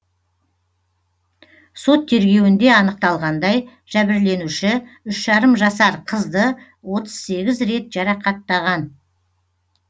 сот тергеуінде анықталғандай жәбірленуші үш жарым жасар қызды отыз сегіз рет жарақаттаған